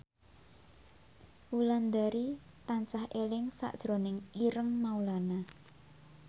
Wulandari tansah eling sakjroning Ireng Maulana